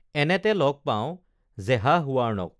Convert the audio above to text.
এনেতে লগ পাওঁ জেহাহৱাৰ্ণক